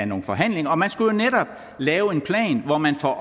nogle forhandlinger og man skulle lave en plan hvor man får